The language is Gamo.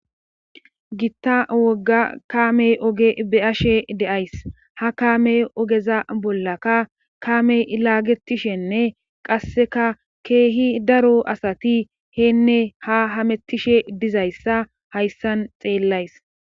gitta wogga kaamey ooge be'ashe de'ays ha kaame oogeza bollaka kaame laagetishenne qasseka keehi daro asati heenne ha hamettishe dizayssa hayssan xeellays